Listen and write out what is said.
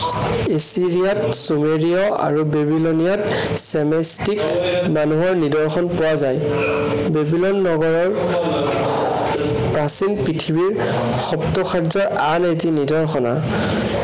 ইষ্ট্ৰিৰিয়াত চুমেৰিয় আৰু বেবিলনীয়াত মানুহৰ নিদৰ্শন পোৱা যায়। বেবিলন নগৰৰ প্ৰাচীন পৃথিৱীৰ সপ্তচাৰ্যৰ আন এটি নিদৰ্শনা।